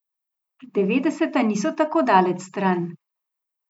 Devetdeseta niso tako daleč stran.